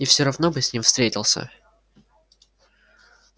и всё равно бы с ним встретился